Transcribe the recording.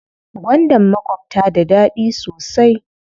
Gwandan makwabta da daɗi sosai.